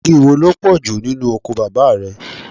Igi wo ló pọ̀jù nínú oko bàbá rẹ?